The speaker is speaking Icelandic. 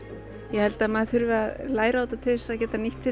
ég held að maður þurfi að læra á þetta til þess að geta nýtt